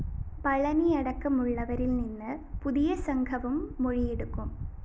പളനിയടക്കമുള്ളവരില്‍ നിന്ന് പുതിയ സംഘവും മൊഴിയെടുക്കും